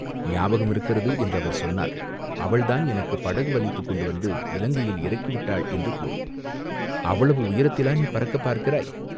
ஞாபகம் இருக்கிறது என்று அவர் சொன்னால், அவள்தான் எனக்குப் படகு வலித்துக்கொண்டு வந்து இலங்கையில் இறக்கி விட்டாள் என்று கூறு, அவ்வளவு உயரத்திலேயா நீ பறக்கப் பார்க்கிறாய்